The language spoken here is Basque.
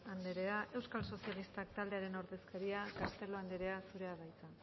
anderea euskal sozialistak taldearen ordezkaria castelo anderea zurea da hitza